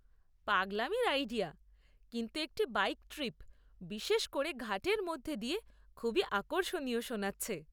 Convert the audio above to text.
পাগলামির idea, কিন্তু একটি bike trip, বিশেষ করে ঘাটের মধ্যে দিয়ে, খুবই আকর্ষণীয় শোনাচ্ছে।